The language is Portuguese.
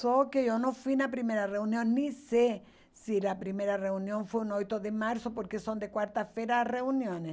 Só que eu não fui na primeira reunião, nem sei se a primeira reunião foi no oito de março, porque são de quarta-feira as reuniões.